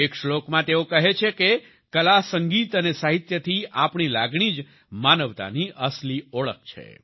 એક શ્લોકમાં તેઓ કહે છે કે કલા સંગીત અને સાહિત્ય થી આપણી લાગણી જ માનવતાની અસલી ઓળખ છે